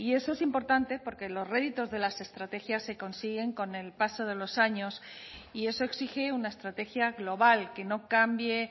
eso es importante porque los réditos de las estrategias se consiguen con el paso de los años y eso exige una estrategia global que no cambie